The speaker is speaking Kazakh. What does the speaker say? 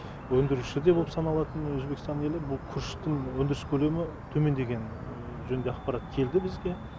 өндіруші де болып саналатын өзбекстан елі бұл күріштің өндіріс көлемі төмендегені жөнінде ақпарат келді бізге